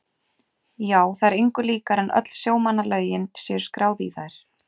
Já, það er engu líkara en öll sjómannalögin séu skráð í þær.